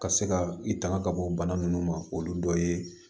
Ka se ka i tanga ka bɔ bana nunnu ma olu dɔ ye